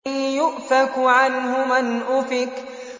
يُؤْفَكُ عَنْهُ مَنْ أُفِكَ